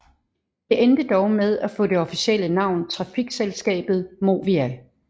Det endte dog med at få det officielle navn Trafikselskabet Movia